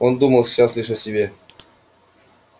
он думал сейчас лишь о себе